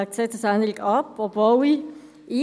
Dies, obwohl ich Fan der BSC Young Boys (YB) bin.